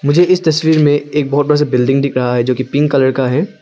मुझे इस तस्वीर में एक बहुत बड़ा सा बिल्डिंग दिख रहा है जो की पिंक कलर का है।